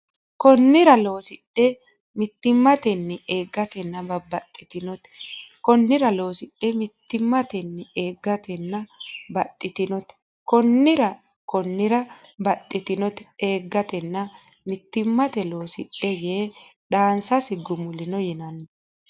Konnira loosidhe mittimmatenni eeggatena baxxitinoonte Konnira loosidhe mittimmatenni eeggatena baxxitinoonte Konnira Konnira baxxitinoonte eeggatena mittimmatenni loosidhe yee dhaansasi gumulino yinanni !